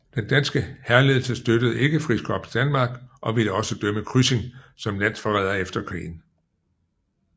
Den danske hærledelse støttede ikke Frikorps Danmark og ville også dømme Kryssing som landsforræder efter krigen